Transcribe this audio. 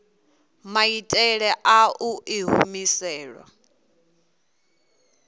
maitele a u i humisela